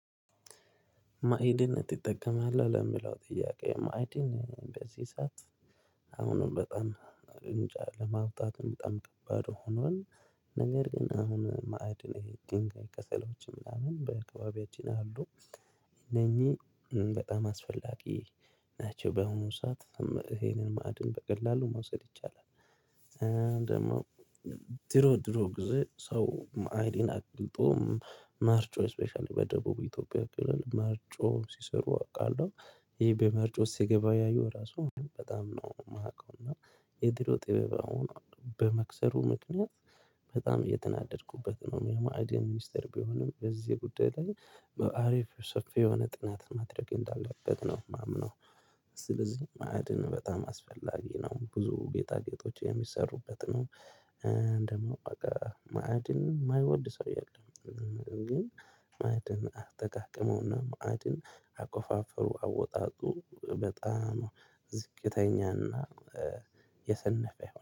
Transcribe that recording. ማዕድን ትጠቀማለህ ለሚለው ጥያቄ ማዕድን በዚህ ሰዓት አሁንም በጣም እንጃ ለማውጣትም በጣም ከባድ ሆኗል። ነገር ግን አሁን ማዕድን የድንጋይ ከሰሎችም ምናምን በአካባቢያችን አሉ። እነኚህ በጣም አስፈላጊ ናቸው በሆነ ሰዓት ይሄንን ማዕድን በቀላሉ ማውሰድ ይቻላል። ደግሞ ድሮ ድሮ ጊዜ ሰው ማዕድን አቅልጦ ማርጮ ስፔሻሊ በደቡብ ኢትዮጵያ ክልል መርጮ ሲሰሩ አውቃለሁ። ይሄ በመርጮ ሲገበያዮ ራሱ በጣም ነው የማውቀው። እና የድሮ ጥበብ አሁን በመክሰሩ ምክንያት በጣም እየተናደድኩበት ነው። የማዕድን ሚኒስተር ቢሆንም በዚህ ጉዳይ ላይ በአሪፍ ሰፊ የሆነ ጥናት ማድረግ እንዳለበት ነው የማምነው። ስለዚህ ማዕድን በጣም አስፈላጊ ነው። ብዙ ጌጣጌጦች የሚሰሩበት ነው ምንድን ነው? በቃ ማዕድንን የማይወድ ሰው የለም። ግን ደግሞ ድሮ ድሮ ጊዜ ሰው ማዕድን አቅልጦ ማርጮ ስፔሻሊ በደቡብ ኢትዮጵያ ክልል መርጮ ሲሰሩ አውቃለሁ። ይሄ በመርጮ ሲገበያዮ ራሱ በጣም ነው የማውቀው። እና